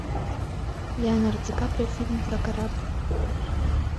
леонардо ди каприо фильм про корабль